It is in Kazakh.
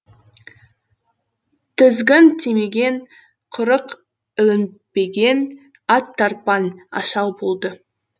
тізгін тимеген құрық ілінбеген ат тарпаң асау болды